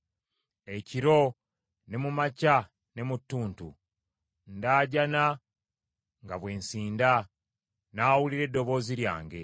Ekiro, ne mu makya ne mu ttuntu, ndaajana nga bwe nsinda; n’awulira eddoboozi lyange.